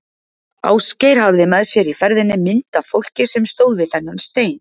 Ásgeir hafði með sér í ferðinni mynd af fólki sem stóð við þennan stein.